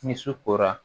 Ni su kora